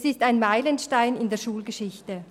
Es ist ein Meilenstein in der Schulgeschichte.